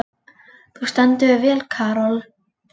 Þú stendur þig vel, Karol!